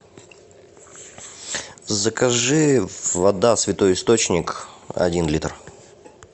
закажи вода святой источник один литр